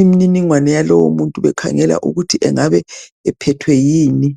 imininingwane yalowo muntu bekhangela ukuthi engabe ephethwe yini.